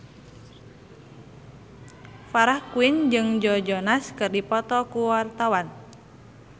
Farah Quinn jeung Joe Jonas keur dipoto ku wartawan